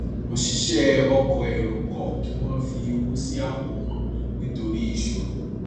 òṣìṣẹ ọkọ èrò kọ kí wọn fi owó sí àpò wọn nítorí ìṣòro